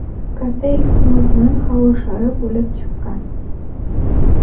katta ehtimol bilan havo shari bo‘lib chiqqan.